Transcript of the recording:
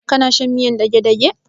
Kana shan miyar dagedage?